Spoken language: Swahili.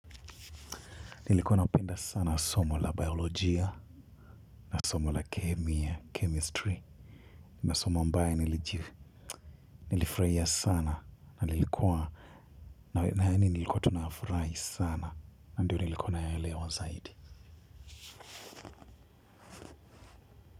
Nilikuwa napenda sana somo la biolojia na somo la kemia, chemistry nima asomo ambaye nilijivu, nilifraia sana nilikuwa na yani nilikuwa tu nafrahi sana na ndio nilikuwa nayaelewa zaidi.